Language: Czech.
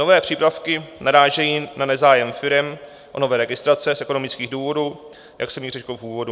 Nové přípravky narážejí na nezájem firem o nové registrace z ekonomických důvodů, jak jsem již řekl v úvodu.